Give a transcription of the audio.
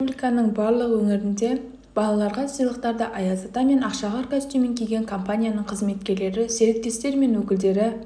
республиканың барлық өңірінде балаларға сыйлықтарды аяз ата мен ақшақар костюмін киген компанияның қызметкерлері серіктестер мен өкілдері